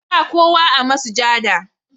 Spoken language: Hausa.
Ba kowa a masujada,